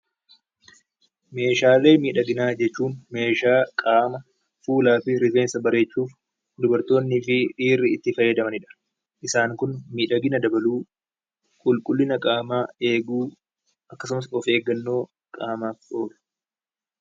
Meeshaalee miidhaginaa jechuun meeshaa qaama, fuulaa fi rifeensa bareechuuf dubartoonnii fi dhiirri itti fayyadamanidha. Isaan kun miidhagina dabaluu, qulqulliina qaamaa eeguu, akkasumas of eeggannoo qaamaaf godhamudha.